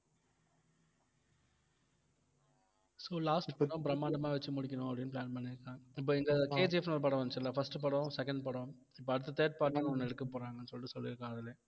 so last இப்பதான் பிரம்மாண்டமா வச்சு முடிக்கணும் அப்படின்னு plan பண்ணிருக்காங்க இப்ப இந்த KGF ன்னு ஒரு படம் வந்துச்சு இல்லை first படம் second படம் இப்ப அடுத்து third part ன்னு ஒண்ணு எடுக்கப் போறாங்கன்னு சொல்லிட்டு சொல்லிருக்காங்க அதுல